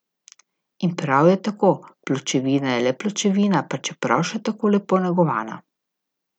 In prav je tako, pločevina je le pločevina, pa čeprav še tako lepo negovana.